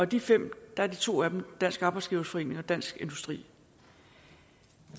de fem er to af dem dansk arbejdsgiverforening og dansk industri